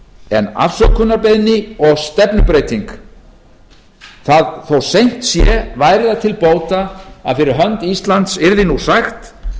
en afsökunarbeiðni og stefnubreyting þó seint sé væri það til bóta að fyrir hönd íslands yrði nú sagt